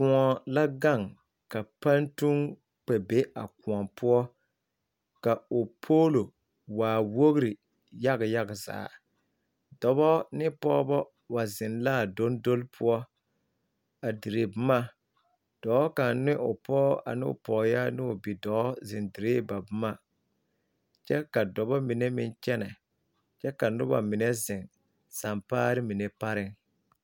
Kõɔ la gaŋ ka pantuŋ kpɛ be a kõɔ poɔ ka o polo waa wogri yaga yaga zaa dɔbɔ ne pɔgebɔ wa zeŋ la a dɔndɔle poɔ a dire boma dɔɔ kaŋ ne o pɔge ane o pɔgeyaa ne o bidɔɔ zeŋ diree ba boma kyɛ ka dɔbɔ mine meŋ kyɛnɛ kyɛ ka noba mine zeŋ sampaare mine pareŋ.